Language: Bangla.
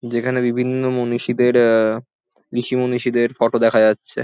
যেখানে বিভিন্ন মনীষীদের এ ঋষি মনীষীদের ফটো দেখা যাচ্ছে।